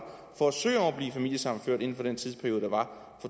for at søge om at blive familiesammenført inden for den tidsperiode der var